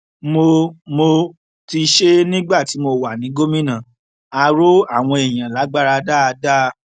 mo mo ti ṣe é nígbà tí mo wà ní gómìnà á rọ àwọn èèyàn lágbára dáadáa